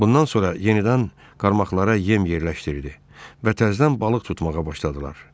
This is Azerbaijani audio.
Bundan sonra yenidən qarmaqlara yem yerləşdirdi və təzdən balıq tutmağa başladılar.